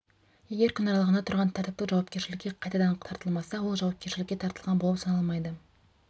егер күн аралығында тұрғын тәртіптік жауапкершілікке қайтадан тартылмаса ол жауапкершілікке тартылған болып саналмайды